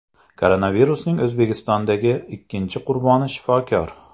Koronavirusning O‘zbekistondagi ikkinchi qurboni shifokor.